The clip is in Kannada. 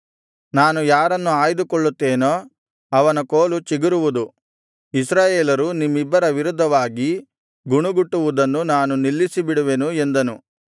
ನಾನು ಯಾರನ್ನು ಆಯ್ದುಕೊಳ್ಳುತ್ತೇನೋ ಅವನ ಕೋಲು ಚಿಗುರುವುದು ಇಸ್ರಾಯೇಲರು ನಿಮ್ಮಿಬ್ಬರ ವಿರುದ್ಧವಾಗಿ ಗುಣುಗುಟ್ಟುವುದನ್ನು ನಾನು ನಿಲ್ಲಿಸಿ ಬಿಡುವೆನು ಎಂದನು